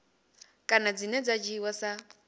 kana dzine dza dzhiiwa sa